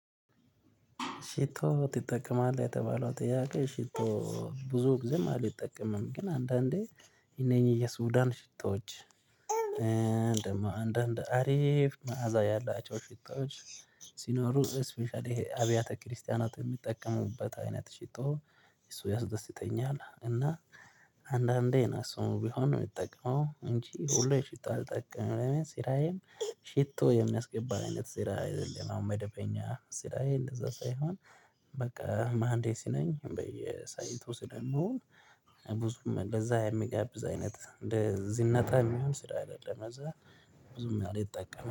ሽቶ ትጠቀማለህ የተባለው ጥያቄ? ሽቶ ብዙ ጊዜም አልተጠቀመም። ግን አንዳንዴ የነኚህ የሱዳን ሽቶዎች እንደማው አንዳንድ አሪፍ መዓዛ ያላቸው ሽቶዎች። ሲኖሩ ስፔሻሊ ይሄ አብያተ ክርስቲያናት የሚጠቀሙበት አይነት ሽቶ እሱ ያስደስተኛል። እና አንዳንዴ እሱሞ ቢሆን ነው የሚጠቅመው እንጂ ሁሌ ሽቶ አልጠቅም። ስራዬም ሽቶ የሚያስገባን አይነት ሽቶ አይደለም። አሁን መደበኛ ስራዬ እንደዛ ሳይሆን በቃ ማሀንዴስ ነኝ በየሳይቱ ስለምዉል። ብዙም ለዛም የሚጋብዝ አይነት እንደ ዝነጣ የሚሆነ ስራ አይደለም ለእዛ ብዙም አለጠቀምም